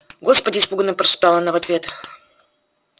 господи испуганно прошептала она в ответ